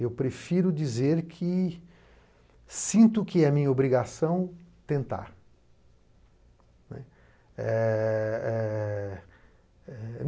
Eu prefiro dizer que sinto que é minha obrigação tentar.